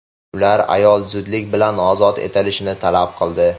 Ular ayol zudlik bilan ozod etilishini talab qildi.